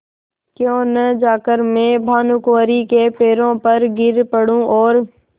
क्यों न जाकर मैं भानुकुँवरि के पैरों पर गिर पड़ूँ और